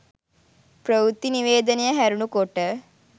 ප්‍රවෘත්ති නිවේදනය හැරුණු කොට